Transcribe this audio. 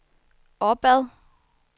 opad